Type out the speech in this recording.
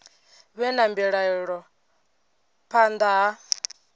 vhe na mbilaelo phanḓa ha